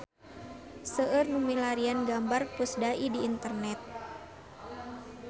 Seueur nu milarian gambar Pusdai di internet